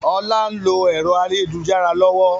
Ọlá ń lo ẹ̀rọ ayélujára lọ́wọ́